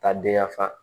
Taa den ya fa